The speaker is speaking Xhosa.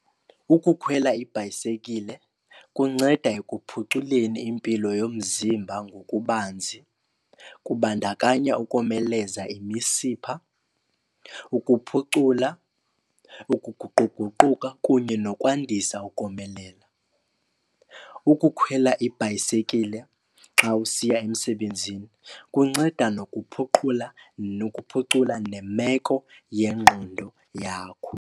Ukukhwela ibhayisekile kunceda ekuphuculeni impilo yomzimba ngokubanzi. Kubandakanya ukomeleza imisipha, ukuphucula, ukuguquguquka kunye nokwandisa ukomelela. Ukukhwela ibhayisekile xa usiya emsebenzini kunceda nokuphucula nemeko yengqondo yakho.